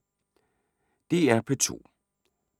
DR P2